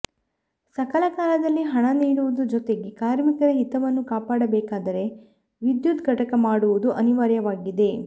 ಸಕಾಲದಲ್ಲಿ ಹಣ ನೀಡುವುದು ಜೊತೆಗೆ ಕಾರ್ಮಿಕರ ಹಿತವನ್ನು ಕಾಪಾಡಬೇಕಾದರೆ ವಿದ್ಯುತ್ ಘಟಕ ಮಾಡುವುದು ಅನಿವಾರ್ಯವಾಗಿದೆ